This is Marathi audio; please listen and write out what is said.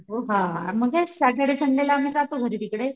हो हा सॅटर्डे संडेला जातो आम्ही घरी तिकडे.